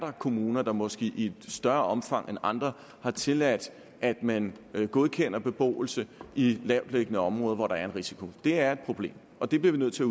kommuner der måske i større omfang end andre har tilladt at man godkender beboelse i lavtliggende områder hvor der er en risiko det er et problem og det bliver vi nødt til